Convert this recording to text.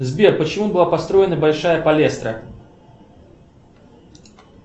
сбер почему была построена большая палестра